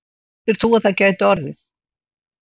Heldur þú að það gæti orðið?